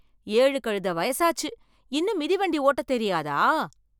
ஏழு கழுத வயசாச்சு, இன்னும் மிதிவண்டி ஓட்டத் தெரியாதா.